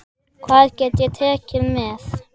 Hvað get ég tekið með?